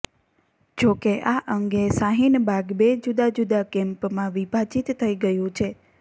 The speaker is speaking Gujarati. જો કે આ અંગે શાહીનબાગ બે જુદા જુદા કેમ્પમાં વિભાજીત થઈ ગયું છે